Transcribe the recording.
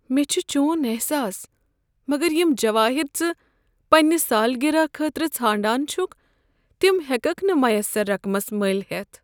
مےٚ چھُ چون احساس، مگر یم جواہر ژٕ پننہ سالگرہ خٲطرٕ ژھانڈان چھُکھ تم ہیککھ نہ میسر رقمس مٔلۍ ہیتھ۔